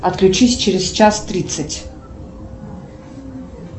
отключись через час тридцать